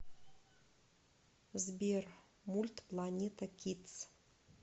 сбер мульт планета кидс